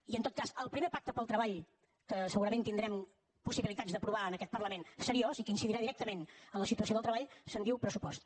i en tot cas del primer pacte pel treball que segurament tindrem possibilitats d’aprovar en aquest parlament seriós i que incidirà directament en la situació del treball se’n diu pressupost